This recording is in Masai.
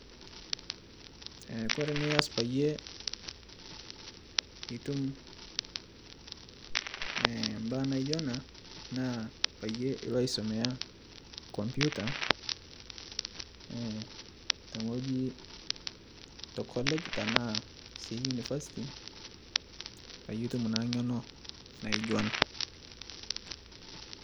Kore inias payie itum embaye Nairobi ina naa payie ilo aisomea computer te wueji aa college ashu University peyie itum naa ng'eno naijo ena